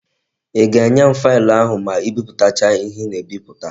I ga-enye m faịlụ ahụ ma ị biputacha ihe ị na-ebiputa?